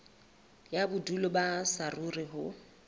ya bodulo ba saruri ho